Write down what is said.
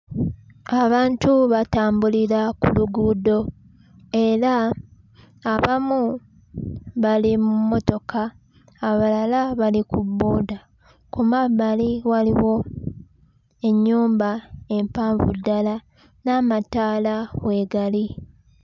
Abantu batambulira ku luguudo era abamu bali mu mmotoka, abalala bali ku booda; ku mabbali waliwo ennyumba empanvu ddala n'amataala weegali.